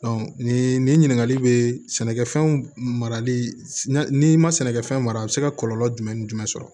nin nin ɲininkali bɛ sɛnɛkɛfɛnw marali ma sɛnɛkɛfɛn mara bɛ se ka kɔlɔlɔ jumɛn ni jumɛn sɔrɔ